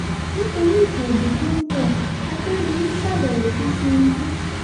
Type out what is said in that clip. nítorí ìbò ondo tó ń bo àkèrèdòlù ṣàbẹ̀wò sí tìǹbù